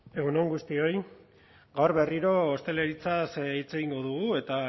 egun on guztioi gaur berriro ostalaritzaz hitz egingo dugu eta